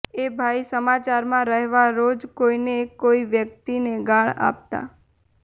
એ ભાઇ સમાચારમાં રહેવા રોજ કોઇને કોઇ વ્યક્તિને ગાળ આપતા